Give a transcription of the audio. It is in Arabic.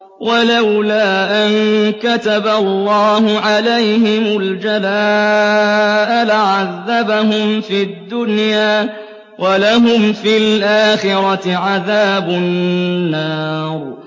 وَلَوْلَا أَن كَتَبَ اللَّهُ عَلَيْهِمُ الْجَلَاءَ لَعَذَّبَهُمْ فِي الدُّنْيَا ۖ وَلَهُمْ فِي الْآخِرَةِ عَذَابُ النَّارِ